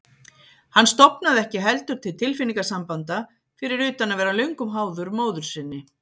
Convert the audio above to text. Hann stofnaði ekki heldur til tilfinningasambanda, fyrir utan að vera löngum háður móður sinni.